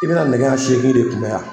I bɛna nɛgɛ ɲɛ seegin de kunbɛn yan.